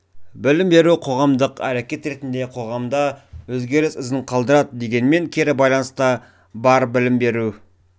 білім беру қоғамдық әрекет ретінде қоғамда өзгеріс ізін қалдырады дегенмен кері байланыс та бар білім беру